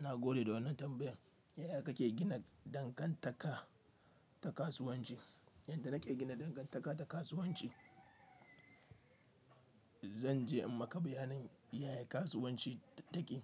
Na gode da wannan tambayan. Yaya kake gina dangantaka ta kasuwanci? Yanda nake gina dangantaka da kasuwanci, zan je in maka bayanin yaya kasuwanci take.